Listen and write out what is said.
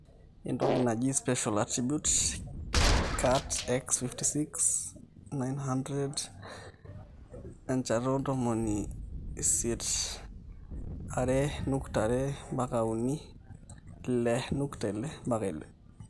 entoki naji special attribute KatX56 900 1800 2.5-3 6.6-8